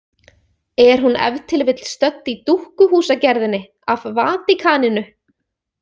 Er hún ef til vill stödd í dúkkuhúsagerðinni af Vatíkaninu?